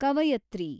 ಕವಿಯತ್ರಿ